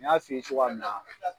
N y'a f'i ye cogoya min na